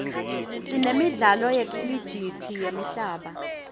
sinemidlalo yekhilijithi yemhlaba